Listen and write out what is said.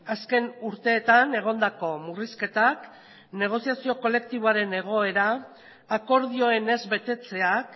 azken urteetan egondako murrizketak negoziazio kolektiboaren egoera akordioen ez betetzeak